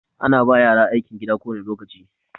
Ana ba yara aikin gida kowane lokaci.